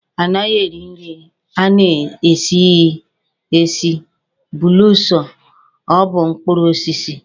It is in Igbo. A naghị eri nri a na-esighi esi belụsọ ọ bụ mkpụrụ osisi.